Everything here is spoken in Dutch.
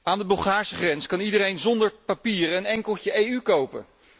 Aan de Bulgaarse grens kan iedereen zonder papieren een enkeltje EU kopen.